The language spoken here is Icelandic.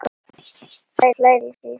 Klæða sig sagði Örn.